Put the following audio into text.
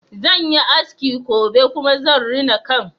Zan yi aski gobe kuma zan rina kan